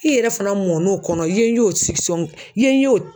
I yɛrɛ fana mɔn'o kɔnɔ i ye y'o i ye y'o